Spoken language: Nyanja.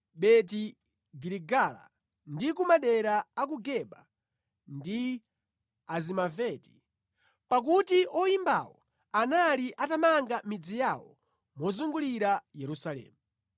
Beti-Giligala ndi ku madera a ku Geba ndi Azimaveti, pakuti oyimbawo anali atamanga midzi yawo mozungulira Yerusalemu.